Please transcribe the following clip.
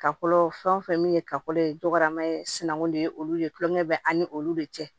Kakolo fɛn o fɛn min ye kakolo ye dɔgɔman ye sinankun de ye olu ye tuloŋɛ bɛ an ni olu de cɛ